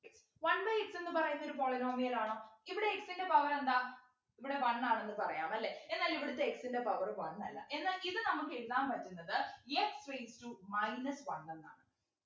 one by x ന്നു പറയുന്നതൊരു polynomial ആണോ ഇവിടെ x ൻ്റെ power എന്താ ഇവിട one ആണെന്ന് പറയാം അല്ലെ എന്നാൽ ഇവിടെത്തെ x ൻ്റെ power one അല്ല എന്നാൽ ഇത് നമുക്ക് എഴുതാൻ പറ്റുന്നത് x raised to minus one എന്നാണ്